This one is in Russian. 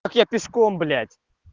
как я пешком блять